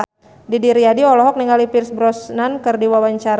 Didi Riyadi olohok ningali Pierce Brosnan keur diwawancara